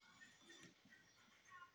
waa maxay qiimaha suuqa saamiyada ee nairobi